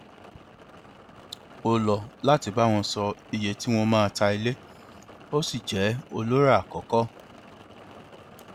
ó lọ láti bá wọn sọ iye tí wọn máa ta ilé ó sì jẹ olórà àkọkọ